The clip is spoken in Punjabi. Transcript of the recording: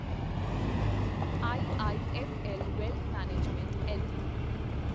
IIFL wealth management LTD